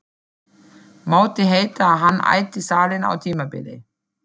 Mátti heita að hann ætti salinn á tímabili.